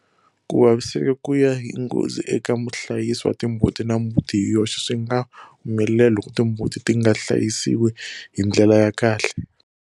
Ku vaviseka ku ya hi nghozi, eka muhlayisi wa mbuti na mbuti hi yoxe, swi nga humelela loko timbuti ti nga hlayisiwa hi ndlela ya kahle.